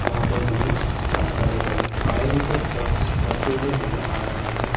वहां पे हमें चार बड़े बड़े फायर ब्रिगेड ट्रक्स रखे हुए नजर आ रहे हैं।